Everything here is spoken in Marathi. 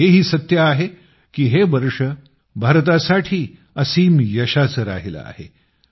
पण हेही सत्य आहे की हे वर्ष भारतासाठी असीम यशाचं राहिलं आहे